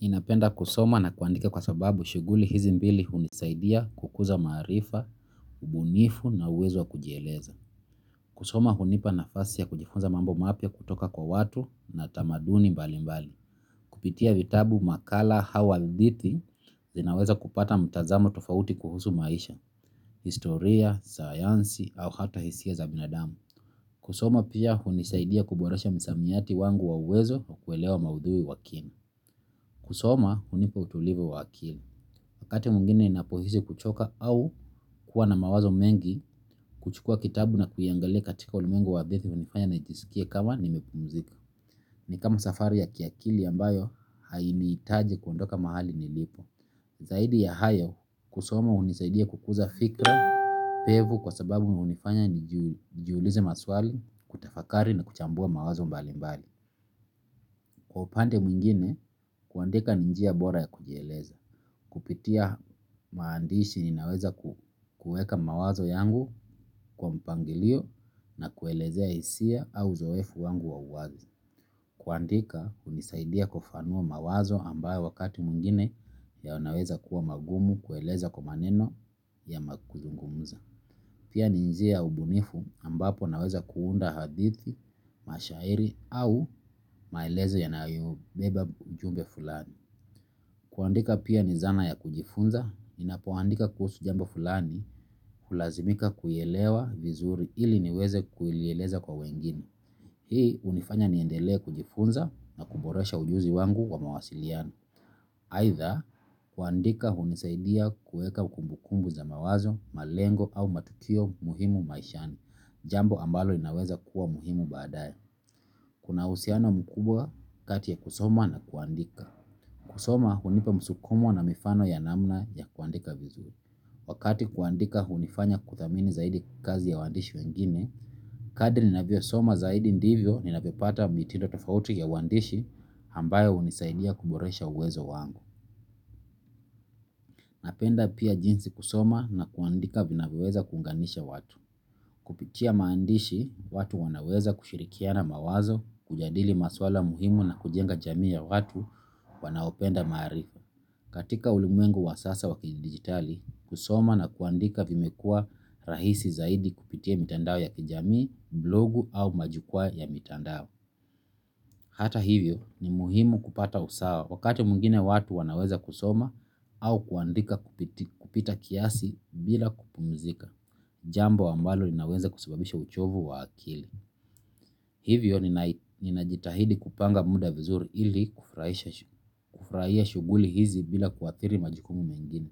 Ninapenda kusoma na kuandika kwa sababu shuguli hizi mbili hunisaidia kukuza marifa, ubunifu na uwezo wa kujieleza. Kusoma hunipa nafasi ya kujifunza mambo mapya kutoka kwa watu na tamaduni mbali mbali. Kupitia vitabu makala hau hadithi zinaweza kupata mtazamo tofauti kuhusu maisha, historia, sayansi au hata hisia za binadamu. Kusoma pia hunisaidia kuboresha msamiyati wangu wa uwezo wa kuelewa maudhui wa kini. Kusoma, hunipa utulivu wa akili. Wakati mwingine napohisi kuchoka au kuwa na mawazo mengi huchukua kitabu na kuingalia katika ulimwengu wa hadithi ni kama safari ya kiakili ambayo hainiitaji kuondoka mahali nilipo. Zaidi ya hayo, kusoma unisaidia kukuza fikra, pevu kwa sababu unifanya nijiulize maswali, kutafakari na kuchambua mawazo mbali mbali. Kwa upande mwingine kuandika ni njia bora ya kujieleza. Kupitia maandishi ninaweza kueka mawazo yangu kwa mpangilio na kuelezea hisia au uzoefu wangu wa uwazi. Kuandika unisaidia kufanua mawazo ambayo wakati mwingine yanaweza kuwa magumu kueleza kwa maneno yama kuzungumuza. Pia ni njia ya ubunifu ambapo naweza kuunda hadithi, mashairi au maelezo yanayo beba ujumbe fulani. Kuandika pia ni zana ya kujifunza, ninapoandika kuhusu jambo fulani hulazimika kuielewa vizuri ili niweze kuilieleza kwa wengine. Hii unifanya niendele kujifunza na kuboresha ujuzi wangu kwa mawasiliano. Aitha kuandika hunisaidia kueka kumbukumbu za mawazo, malengo au matukio muhimu maishani jambo ambalo linaweza kuwa muhimu baadae. Kuna uhusiano mkubwa kati ya kusoma na kuandika. Kusoma hunipa msukumo na mifano ya namna ya kuandika vizu. Wakati kuandika hunifanya kuthamini zaidi kazi ya wandishi wengine kadri ninavyosoma zaidi ndivyo ninavyopata mitindo zaidi ya uandishi ambayo hunisaidia kuboresha uwezo wangu. Napenda pia jinsi kusoma na kuandika vinavyoweza kuunganisha watu. Kupitia maandishi, watu wanaweza kushirikiana mawazo, kujadili maswala muhimu na kujenga jamii ya watu, wanaopenda maarifa. Katika ulimwengu wa sasa wa kidijitali kusoma na kuandika vimekuwa rahisi zaidi kupitia mitandao ya kijamii blogu au majukwa ya mitandao. Hata hivyo ni muhimu kupata usawa wakati mwingine watu wanaweza kusoma au kuandika kupita kiasi bila kupumzika. Jambo ambalo linaweza kusababisha uchovu wa akili. Hivyo ninajitahidi kupanga muda vizuri ili kufraia shuguli hizi bila kuathiri majikumu mengine.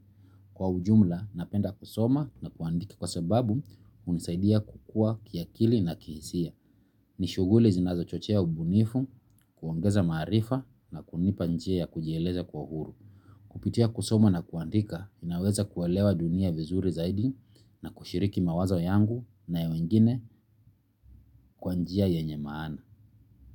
Kwa ujumla napenda kusoma na kuandiki kwa sababu unisaidia kukua kiakili na kihisia. Ni shuguli zinazochochea ubunifu kuongeza maarifa na kunipa njia ya kujieleza kwa uhuru kupitia kusoma na kuandika ninaweza kuelewa dunia vizuri zaidi na kushiriki mawazo yangu na ya wengine kwa njia yenye maana.